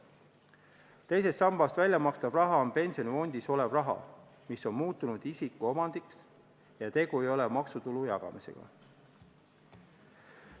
Teisest sambast väljamakstav raha on pensionifondis olev raha, mis on muutunud isiku omandiks, ja tegu ei ole maksutulu jagamisega.